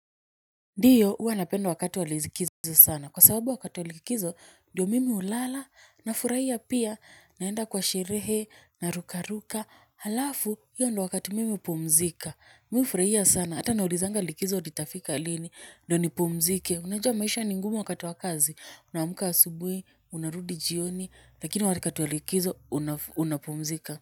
Ndiyo huwa napenda wakati wa likizo sana kwa sababu wakati wa likizo diyo mimi hulala nafuraia pia naenda kwa sherehe naruka ruka halafu hiyo ndo wakati mimi hupumzika. Mimi ufuraia sana hata naulizanga likizo litafika lini ndiyo nipumzike unajua maisha ni ngumu wakati wa kazi unaamuka asubui unarudi jioni lakini wakati wa likizo unapumzika.